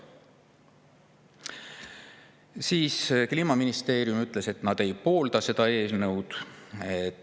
Kliimaministeeriumi ütles, et nad ei poolda seda eelnõu.